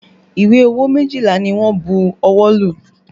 Ìwé owó méjìlá ni wọ́n bu ọwọ́ lù